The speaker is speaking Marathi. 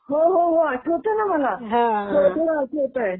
हो हो हो आठवतं ना मला.